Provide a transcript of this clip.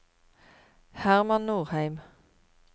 Herman Nordheim